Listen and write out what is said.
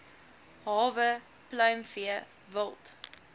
hawe pluimvee wild